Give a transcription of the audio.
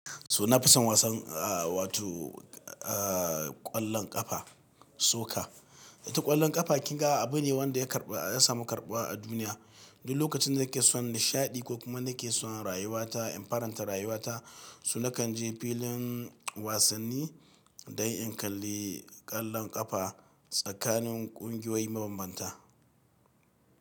So na fi son wasan wato kwallon kafa, soccer. Ita kwallon kafa kinga abu ne wanda ya karɓa, ya samu karɓuwa a duniya. Duk lokacin da nake son nishaɗi ko kuma nake son rayuwata in faranta rayuwata, so na kan je filin wasanni dan in kalli kwallon kafa tsakanin kungiyoyi mabambanta.